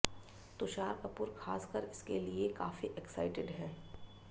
तुषार कपूर खासकर इसके लिए काफी एक्साइटेड हैं